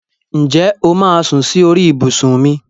Ǹjẹ́ o máà sún sí orí ibùsùn mi?